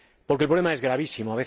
Porque el problema es gravísimo.